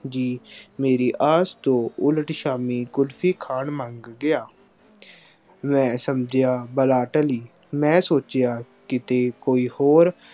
ਜੀ ਮੇਰੀ ਆਸ ਤੋਂ ਉਲਟ ਸ਼ਾਮੀ ਕੁਲਫੀ ਖਾਣ ਮੰਨ ਗਿਆ। ਮੈਂ ਸਮਝਿਆ ਬਲਾ ਟਲੀ। ਮੈਂ ਸੋਚਿਆ ਕਿਤੇ ਕੋਈ ਹੋਰ